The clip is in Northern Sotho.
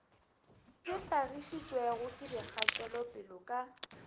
di hlagišitšwego ke dikgatelopele ka